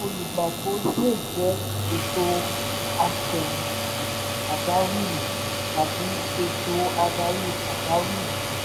ètò olùgbapò lè jẹ́ "ètò àfẹ̀yìntì pàjáwìrì" tàbí "ètò adarí pàjáwìrì".